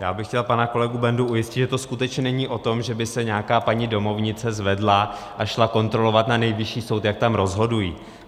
Já bych chtěl pana kolegu Bendu ujistit, že to skutečně není o tom, že by se nějaká paní domovnice zvedla a šla kontrolovat na Nejvyšší soud, jak tam rozhodují.